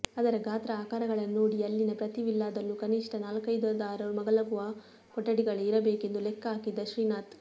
ಅದರ ಗಾತ್ರ ಆಕಾರಗಳನ್ನು ನೋಡಿಯೆ ಅಲ್ಲಿನ ಪ್ರತಿ ವಿಲ್ಲಾದಲ್ಲೂ ಕನಿಷ್ಠ ನಾಲ್ಕೈದಾದರು ಮಲಗುವ ಕೊಠಡಿಗಳೆ ಇರಬೇಕೆಂದು ಲೆಕ್ಕ ಹಾಕಿದ್ದ ಶ್ರೀನಾಥ